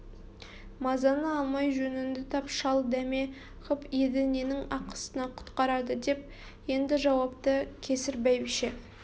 мазаны алмай жөнінді тап шал дәме ғып еді ненің ақысына құтқарады деп енді жауапты кесір бәйбіше